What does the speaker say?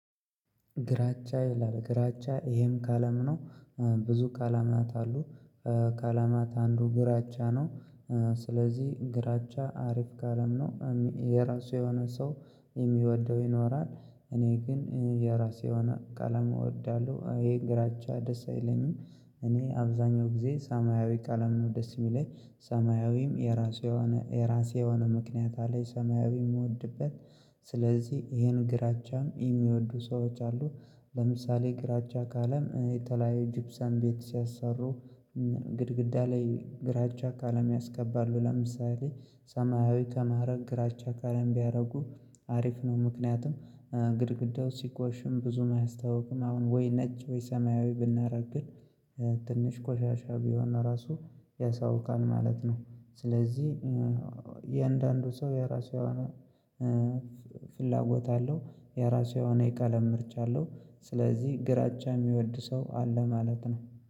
ግራጫ ይላል ግራጫ ይሄም ከአለም ነው። ብዙ ከለማት አሉ ካለማት አንዱ ግራቻ ነው። ስለዚህ ግራቻ አሪፍ ካለም ነው የራሱ የሆነ ሰው የሚወደው ይኖራል እኔ ግን የራሴ ቀለም እወዳለሁ ይሄ ግራቻ ደስ አይለኝም። እኔ አብዛኛው ጊዜ ሰማያዊ ቀለም ነው ደስ የሚለኝ ሰማያዊም የራሱ የሆነ የራሴ የሆነ ምክንያት አለኝ ሰማያዊ የምወድበት ስለዚህ ይሄን ግራቻም የሚወዱ ሰዎች አሉ። ለምሳሌ ግራቻ ካለም የተለያዩ ጅብሳን ቤት ሲያሰሩ ግድግዳ ላይ ግራቻ ካለም ያስቀባሉ ለምሳሌ ሰማያዊ ከማድረግ ግራቻ ካለም ቢያደርጉ አሪፍ ነው ምክንያቱም ግድግዳው ሲኮሽም ብዙም አያስታውቁም አሁን ወይ ነጭ ወይ ሰማያዊ ብናደርግ ግን ትንሽ ቆሻሻ ቢሆን ራሱ ያሳውቃል ማለት ነው። ስለዚህ የእያንዳንዱ ሰው የራሱ የሆነ ፍላጎት አለው የራሱ የሆነ የቀለም ምርቻ አለው። ስለዚህ ግራቻ የሚወድ ሰው አለ ማለት ነው።